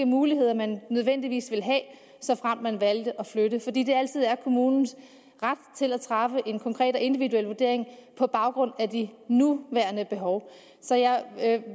muligheder man nødvendigvis ville have såfremt man valgte at flytte fordi det altid er kommunens ret at træffe en konkret og individuel vurdering på baggrund af de nuværende behov så jeg